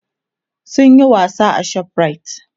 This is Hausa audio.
sun Yi wasa a shoprite